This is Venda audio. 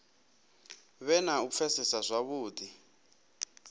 vhe na u pfesesa zwavhudi